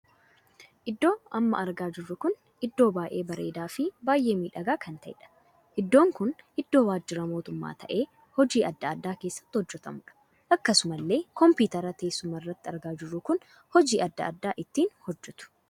Iddoo amma argaa jirru kun iddoo baay'ee bareedaa fi baay'ee miidhagaa kan taheedha. Iddoon kun iddoo waajjira mootummaa tahee hojii addaa addaa keessatti hojjetamuudha. Akkasumallee kompiteera teessuma irratti argaa jirru kun hojii addaa addaa ittiin hojjetu.